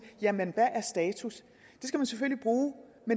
jamen hvad er status